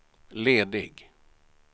ledig